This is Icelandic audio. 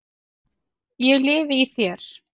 ég lifi í þér.